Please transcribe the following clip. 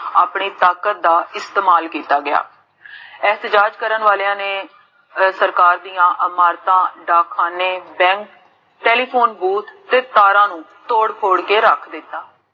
ਆਪਣੀ ਤਾਕਤ ਦਾ ਇਸਤੇਮਾਲ ਕੀਤਾ ਗਿਆਬ ਐਤਜਾਦ ਕਰਨ ਵਾਲੀਆਂ ਨੇ ਸਰਕਾਰ ਦੀਆਂ ਅਮਾਨਤਾਂ